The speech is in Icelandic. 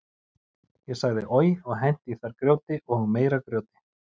Ég sagði oj og henti í þær grjóti og meira grjóti.